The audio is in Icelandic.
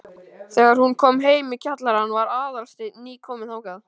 Þegar hún kom heim í kjallarann var Aðalsteinn nýkominn þangað.